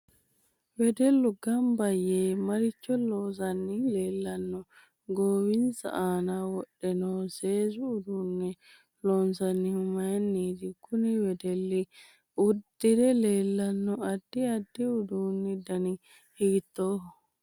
Wedellu ganba yee maricho loosani leelanno goowinsa aana wodhe noo seesu uduune loonsoonihu mayiiniti kuni wedelli uddiire leelanno addi addi uduunu dani hiitooho